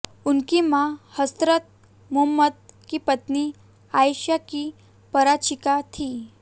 उनकी मां हजरत मुहम्मद की पत्नी आयशा की परिचारिका थीं